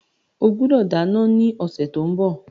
O gbọdọ̀ dáná ní ọ̀sẹ̀ tí ó ń bọ̀.